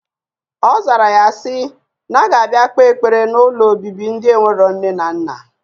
Ozara ya si, na aga abia kpe ekpere na ụlọ obibi ndi enwero nne na nna.